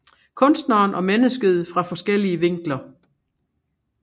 Kunstneren og mennesket fra forskellige vinkler